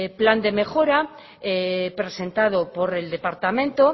plan de mejora presentado por el departamento